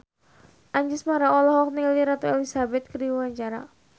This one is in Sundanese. Anjasmara olohok ningali Ratu Elizabeth keur diwawancara